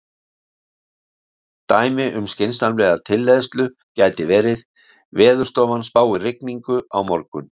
Dæmi um skynsamlega tilleiðslu gæti verið: Veðurstofan spáir rigningu á morgun.